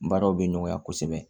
Baaraw bɛ nɔgɔya kosɛbɛ